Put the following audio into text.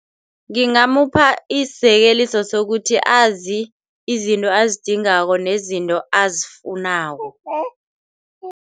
Ngingamupha isizekeliso sokuthi azi izinto azidingako nezinto azifunako.